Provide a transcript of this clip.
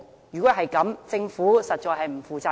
如果是這樣，政府實在是不負責任。